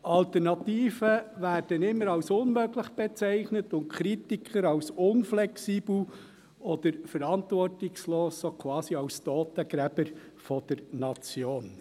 Alternativen werden immer als unmöglich bezeichnet und Kritiker als unflexibel oder verantwortungslos, so quasi als Totengräber der Nation.